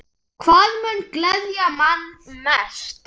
Hvað mun gleðja mann mest?